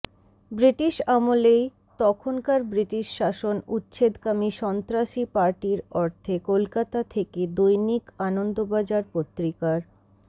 British আমলেই তখনকার British শাসন উচ্ছেদকামী সন্ত্রাসী পার্টির অর্থে কলকাতা থেকে দৈনিক আনন্দবাজার পত্রিকার